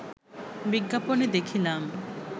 বিজ্ঞাপনে দেখিলাম